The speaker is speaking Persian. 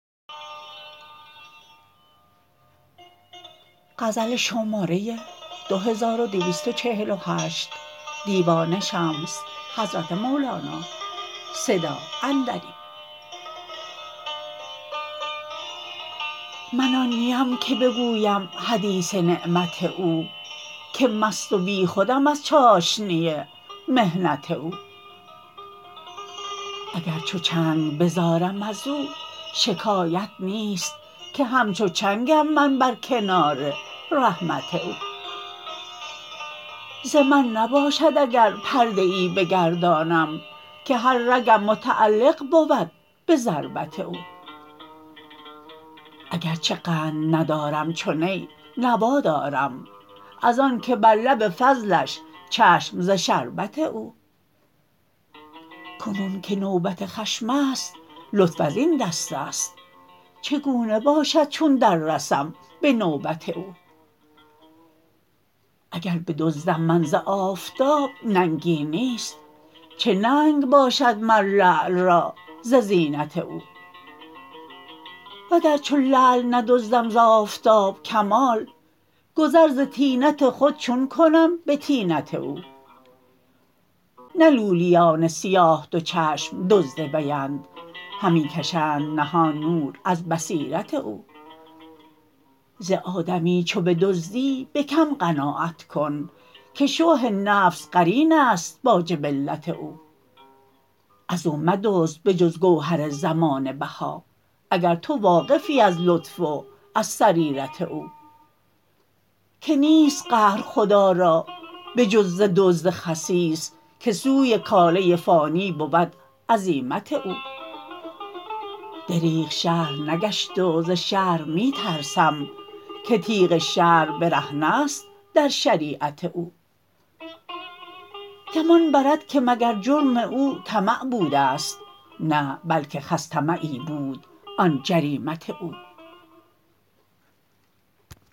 من آن نیم که بگویم حدیث نعمت او که مست و بیخودم از چاشنی محنت او اگر چو چنگ بزارم از او شکایت نیست که همچو چنگم من بر کنار رحمت او ز من نباشد اگر پرده ای بگردانم که هر رگم متعلق بود به ضربت او اگر چه قند ندارم چو نی نوا دارم از آنک بر لب فضلش چشم ز شربت او کنون که نوبت خشم است لطف از این دست است چگونه باشد چون دررسم به نوبت او اگر بدزدم من ز آفتاب ننگی نیست چه ننگ باشد مر لعل را ز زینت او وگر چو لعل ندزدم ز آفتاب کمال گذر ز طینت خود چون کنم به طینت او نه لولیان سیاه دو چشم دزد ویند همی کشند نهان نور از بصیرت او ز آدمی چو بدزدی به کم قناعت کن که شح نفس قرین است با جبلت او از او مدزد به جز گوهر زمانه بها اگر تو واقفی از لطف و از سریرت او که نیست قهر خدا را به جز ز دزد خسیس که سوی کاله فانی بود عزیمت او دریغ شرح نگشت و ز شرح می ترسم که تیغ شرع برهنه ست در شریعت او گمان برد که مگر جرم او طمع بوده ست نه بلک خس طمعی بود آن جریمت او